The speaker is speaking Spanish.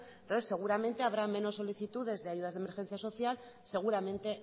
entonces seguramente habrá menos solicitudes de ayudas de emergencia social seguramente